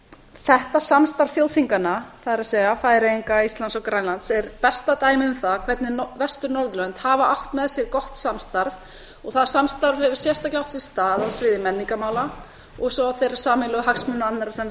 þetta samstarf þjóðþinganna það er færeyinga íslands og grænlands er besta dæmið um það hvernig vestur norðurlönd hafa átt með sér gott samstarf og það samstarf hefur sérstaklega átt sér stað á sviði menningarmála og svo þeirra sameiginlegu hagsmuna annarra sem